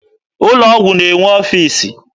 Ụlọ ọgwụ na-enwe ọfiisi.